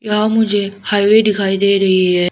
यहां मुझे हाईवे दिखाई दे रही है।